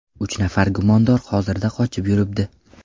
Uch nafar gumondor hozirda qochib yuribdi.